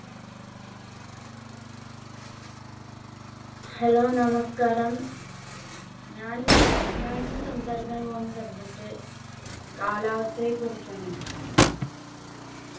hello നമസ്ക്കാരം ഞാൻ ഞാനിന്ന് സംസാരിക്കാൻ പോകുന്ന subject കാലാവസ്ഥയെ കുറിച്ചാണ്